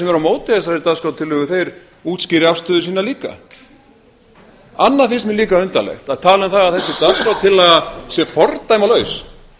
á móti þessari dagskrártillögu útskýri afstöðu sína líka annað finnst mér líka undarlegt að tala um það að þessi dagskrártillaga sé fordæmalaus